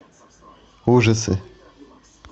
ужасы